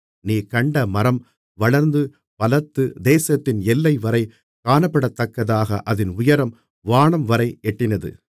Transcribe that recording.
நீர் கண்ட மரம் வளர்ந்து பலத்து தேசத்தின் எல்லைவரை காணப்படத்தக்கதாக அதின் உயரம் வானம்வரை எட்டினது